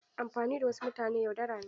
Amfani da wasu mutane yaudara ne.